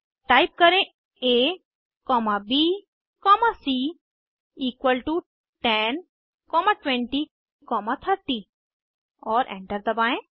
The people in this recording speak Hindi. टाइप करें a comma b comma c equal to 10 comma 20 comma 30 और एंटर दबाएं